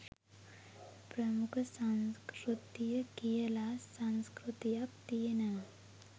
ප්‍රමුඛ සංස්කෘතිය කියලා සංස්කෘතියක් තියෙනවා